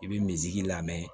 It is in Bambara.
I bɛ misi lamɛn